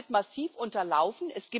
Das wird massiv unterlaufen.